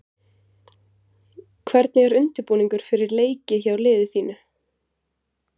Hvernig er undirbúningur fyrir leiki hjá liði þínu?